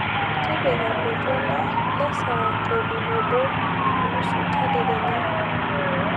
tipika oltwala le saa tomon oobo onusu tadekenya